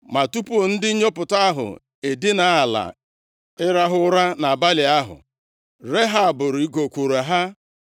Ma tupu ndị nnyopụta ahụ edina ala ịrahụ ụra nʼabalị ahụ, Rehab rịgokwuru ha,